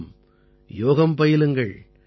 ஆம் யோகம் பயிலுங்கள்